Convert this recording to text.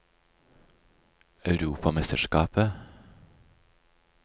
europamesterskapet